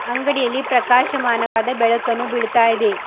ಅಂಗಡಿಯಲ್ಲಿ ಪ್ರಕಾಶಮಾನವಾದ ಬೆಳಕನ್ನು ಬೀಳ್ತಾ ಇದೆ.